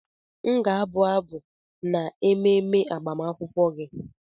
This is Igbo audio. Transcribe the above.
M ga-abụ abụ n'ememe agbamakwụkwọ gị.